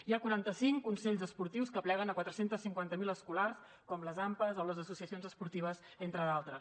hi ha quaranta cinc consells esportius que apleguen quatre cents i cinquanta miler escolars com les ampas o les associacions esportives entre d’altres